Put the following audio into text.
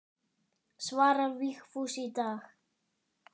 Svarar Vigfús í dag?